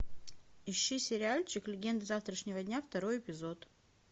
ищи сериальчик легенды завтрашнего дня второй эпизод